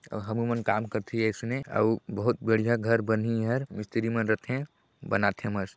अउ हमु मन काम करथे ऐसने आ ऊ बहुत बढ़िया घर बनी हर मिस्त्री मन रथें बनाथे मस्त।